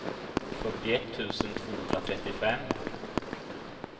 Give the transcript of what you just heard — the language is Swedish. fyrtioett tusen tvåhundratrettiofem